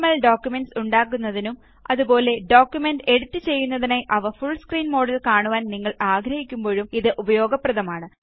documents ഉണ്ടാക്കുന്നതിനും അതുപോലെ document edit ചെയ്യുന്നതിനായി അവ ഫുള് സ്ക്രീന് മോഡില് കാണുവാന് നിങ്ങള് ആഗ്രഹിക്കുമ്പോഴും ഇത് ഉപയോഗപ്രദമാണ്